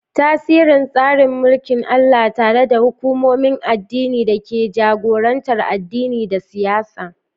Tasirin tsarin mulkin Allah, tare da hukumomin addini da ke jagorantar addini da siyasa.